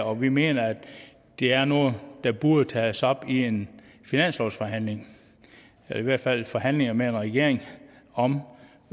og vi mener at det er noget der burde tages op i en finanslovsforhandling eller i hvert fald i forhandlinger med en regering om